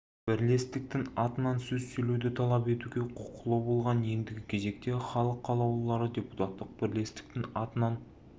бірлестіктің атынан сөз сөйлеуді талап етуге құқылы болған ендігі кезекте іалық қалаулылары депутаттық бірлестіктің атынан